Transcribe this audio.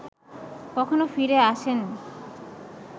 কখনো ফিরে আসেনন